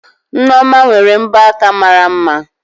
Nneoma nwere mbọ aka mara mma